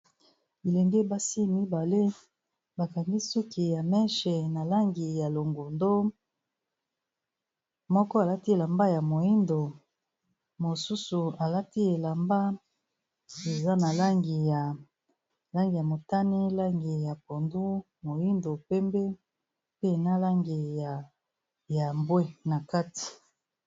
Bilenge basi mibale ba kangi soki ya meche na langi ya longondo, moko alati elamba ya moyindo, mosusu alati elamba eza na langi ya langi ya motani, langi ya pondu, moyindo, pembe, pe na langi ya mbwe na kati.